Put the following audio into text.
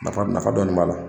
Nafa nafa dɔɔnin b'a la